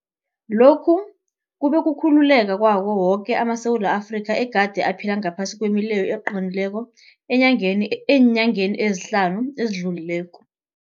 Lokhu kube kukhululeka kwawo woke amaSewula Afrika egade aphila ngaphasi kwemileyo eqinileko eenyangeni ezihlanu ezidlulileko.